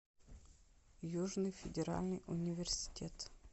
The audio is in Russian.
южный федеральный университет